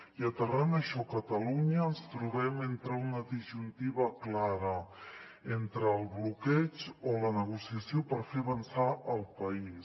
i aterrant això a catalunya ens trobem en una disjuntiva clara entre el bloqueig o la negociació per fer avançar el país